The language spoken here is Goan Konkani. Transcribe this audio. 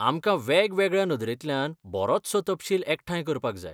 आमकां वेगवेगळ्या नदरेंतल्यान बरोचसो तपशील एकठांय करपाक जाय.